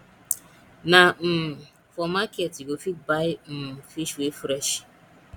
na um for market you go fit buy um fish wey fresh